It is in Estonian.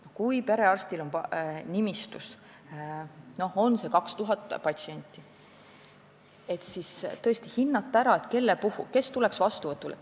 Kui perearstil on nimistus 2000 patsienti, siis on vaja ära hinnata, kes peaks tulema vastuvõtule.